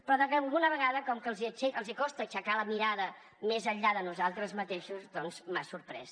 però alguna vegada com que els costa aixecar la mirada més enllà de nosaltres mateixos doncs m’ha sorprès